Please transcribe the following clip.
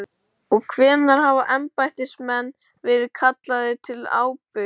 Og hvenær hafa embættismenn verið kallaðir til ábyrgðar?